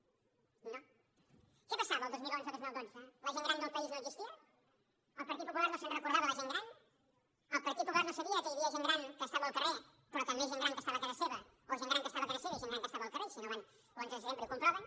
què passava el dos mil onze dos mil dotze la gent gran del país no existia el partit popular no se’n recordava de la gent gran el partit popular no sabia que hi havia gent gran que estava al carrer però també gent gran que estava a casa seva o gent gran que estava a casa seva i gent gran que estava al carrer i si no van a l’onze de setembre i ho comproven